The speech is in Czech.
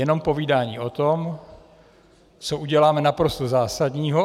Jenom povídání o tom, co uděláme naprosto zásadního.